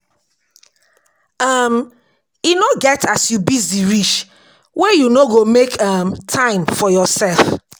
um E no get as you busy reach wey you no go make um time for yoursef.